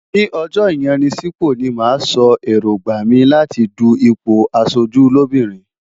Ní ọjọ́ ìyanisípò ni màá sọ èróńgbà mi láti du ipò aṣojú lóbìnrin.